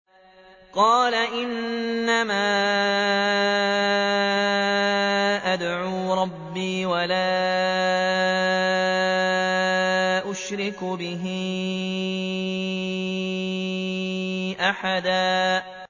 قُلْ إِنَّمَا أَدْعُو رَبِّي وَلَا أُشْرِكُ بِهِ أَحَدًا